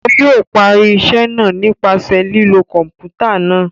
O yóò parí iṣẹ náà nípasẹ̀ lilo kọnputa náà